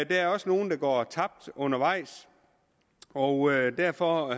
er også nogle der går tabt undervejs og derfor